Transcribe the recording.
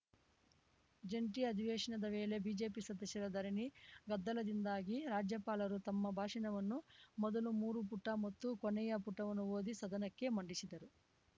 ಜಂಟಿ ಅಧಿವೇಶನದ ವೇಳೆ ಬಿಜೆಪಿ ಸದಸ್ಯರ ಧರಣಿ ಗದ್ದಲದಿಂದಾಗಿ ರಾಜ್ಯಪಾಲರು ತಮ್ಮ ಭಾಷಣವನ್ನು ಮೊದಲ ಮೂರು ಪುಟ ಮತ್ತು ಕೊನೆಯ ಪುಟವನ್ನು ಓದಿ ಸದನಕ್ಕೆ ಮಂಡಿಸಿದರು